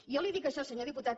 jo li dic això senyor diputat